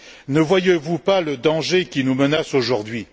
Ne voyez vous pas le danger qui nous menace aujourd'hui?